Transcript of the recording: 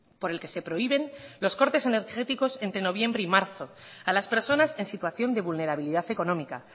por el que se prohíben los cortes energéticos entre noviembre y marzo a las personas en situación de vulnerabilidad económica